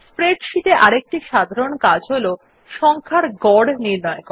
spreadsheet আরেকটি সাধারণ কাজ হল সংখ্যার গড় নির্ণয় করা